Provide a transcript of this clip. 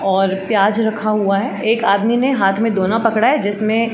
और प्याज़ रखा हुआ है और एक आदमी ने हाथ मे दोना पकड़ा है जिसमे --